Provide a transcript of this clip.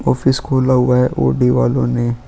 Office खोला हुआ है ओडी वालों ने.